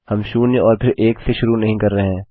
हम शून्य में और फिर एक से शुरू नहीं कर रहे हैं